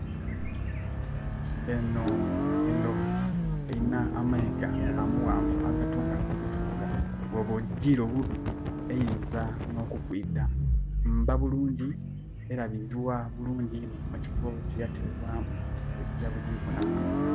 Eno endovu erina amayiga amawanvu agatunga nokutunga. Woba ogire obubi eyinza nokukwita. Mba bulungi, elabirirwa bulungi inho mu kifo kyeyatebwamu. Ezira buzibu bwonabwona